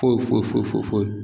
Foyi foyi foyi foyi foyi.